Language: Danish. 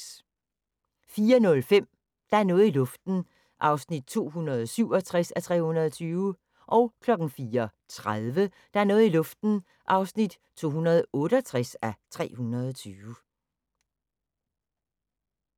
04:05: Der er noget i luften (267:320) 04:30: Der er noget i luften (268:320)